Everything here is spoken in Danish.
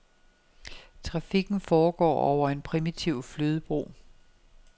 Trafikken foregår over en primitiv flydebro.